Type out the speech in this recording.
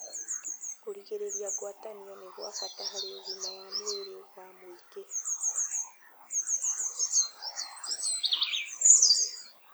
Kũrigĩrĩria kũgwatanio nĩ gwa bata harĩ ũgima wa mwĩrĩ wa mũingĩ